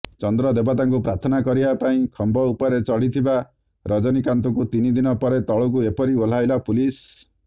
ଚନ୍ଦ୍ର ଦେବତାଙ୍କୁ ପ୍ରାର୍ଥନା କରିବା ପାଇଁ ଖମ୍ବ ଉପରେ ଚଢ଼ିଥିବା ରଜନୀକାନ୍ତଙ୍କୁ ତିନିଦିନ ପରେ ତଳକୁ ଏପରି ଓହ୍ଲାଇଲା ପୁଲିସ